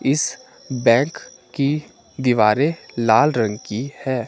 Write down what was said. इस बैक की दीवारे लाल रंग की है।